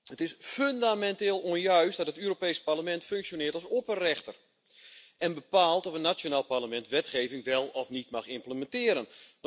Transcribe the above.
Het is fundamenteel onjuist dat het Europees Parlement functioneert als opperrechter en bepaalt of een nationaal parlement wetgeving wel of niet mag implementeren.